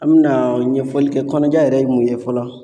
An mina ɲɛfɔli kɛ kɔnɔja yɛrɛ ye mun ye fɔlɔ